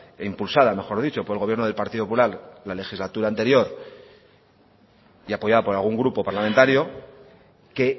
e impulsada mejor dicho por el gobierno del partido popular la legislatura anterior y apoyada por algún grupo parlamentario que